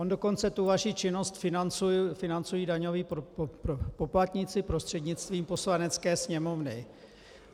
On dokonce tu vaši činnost financují daňoví poplatníci prostřednictvím Poslanecké sněmovny.